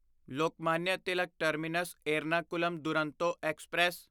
Lokmanya Tilak terminus Ernakulam Duronto express